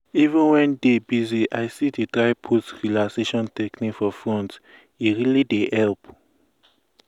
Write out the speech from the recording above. my coach yarn say relaxation techniques important reach to important reach to chop beta food.